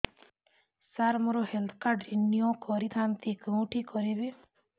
ସାର ମୋର health card renew କରିଥାନ୍ତି କେଉଁଠି କରିବି